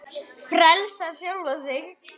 Frelsa sjálfa sig.